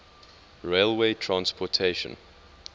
railway transportation